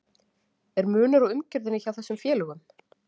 Er munur á umgjörðinni hjá þessum félögum?